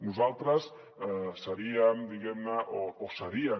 nosaltres seríem diguemne o serien